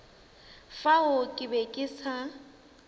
fao ke be ke sa